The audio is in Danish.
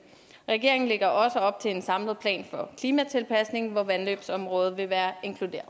regeringen lægger også op til en samlet plan for klimatilpasning hvor vandløbsområdet vil være